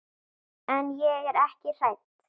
En ég er ekki hrædd.